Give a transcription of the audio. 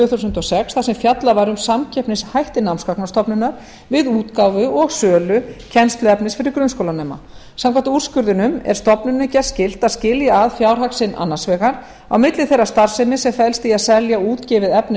þúsund og sex þar sem fjallað var um samkeppnishætti námsgagnastofnunar við útgáfu og sölu kennsluefnis fyrir grunnskólanema samkvæmt úrskurðinum er stofnuninni gert skylt að skilja að fjárhag sinn annars vegar á milli þeirrar starfsemi sem felst í að selja útgefið efni